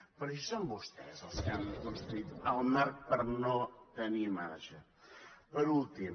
però si són vostès els que han construït el marc per no tenir marge per últim